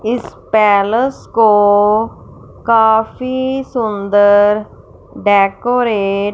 इस पैलेस को काफी सुंदर डेकोरेट --